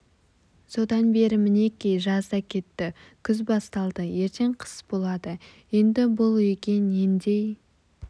содан бері мінеки жаз да кетті күз басталды ертең қыс болады енді бұл үйге нендей